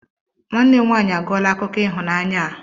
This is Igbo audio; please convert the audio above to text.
Nwanne m nwaanyị a gụọla akụkọ ịhụnanya a.